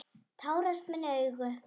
Tárast mín augu.